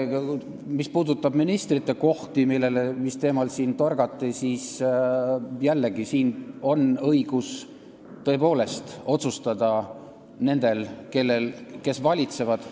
Mis puudutab ministrikohti – sel teemal siin torgati –, siis jällegi, siin on õigus tõepoolest otsustada nendel, kes valitsevad.